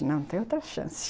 Não, não tem outra chance.